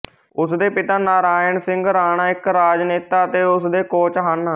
ਉਸ ਦੇ ਪਿਤਾ ਨਾਰਾਇਣ ਸਿੰਘ ਰਾਣਾ ਇੱਕ ਰਾਜਨੇਤਾ ਅਤੇ ਉਸ ਦੇ ਕੋਚ ਹਨ